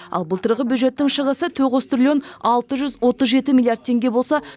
ал былтырғы бюджеттің шығысы тоғыз триллион алты жүз отыз жеті миллиард теңге болса